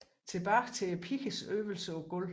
Tilbage til pigernes øvelser på gulv